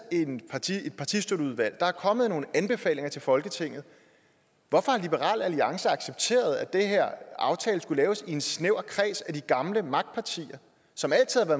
et partistøtteudvalg og der er kommet nogle anbefalinger til folketinget hvorfor har liberal alliance accepteret at den her aftale skulle laves i en snæver kreds bestående af de gamle magtpartier som altid har